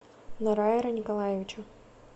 норайра николаевича